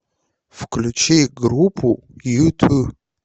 включи группу юту